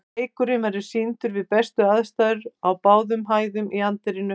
Leikurinn verður sýndur við bestu aðstæður á báðum hæðum í anddyrinu.